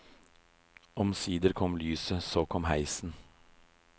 Omsider kom lyset, så kom heisen.